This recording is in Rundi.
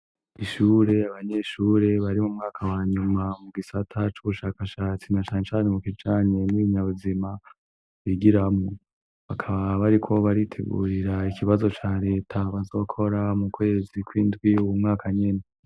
Ishure abanyeshure bari mu mwaka wa nyuma mu gisata c'ubushakashatsi na cane cane mu kijanye n'ibinyabuzima bigiramwo, bakaba bariko baritegurira ikibazo ca Leta bazokora mu kwezi kw'indwi uyu mwaka nyene.